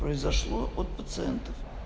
произошло от пациентов